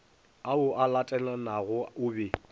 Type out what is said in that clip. ao a latelanago o be